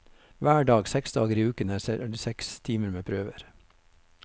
Hver dag, seks dager i uken, er det seks timer med prøver.